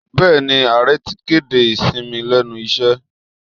Bẹẹ̀ni, ààrẹ ti kéde ìsinmi lẹ́nu iṣẹ́